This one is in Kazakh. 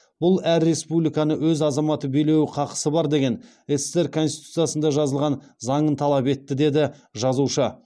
бұл әр республиканы өз азаматы билеуі қақысы бар деген ссср конституциясында жазылған заңын талап етті деді жазушы